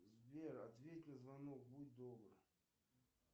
сбер ответь на звонок будь добр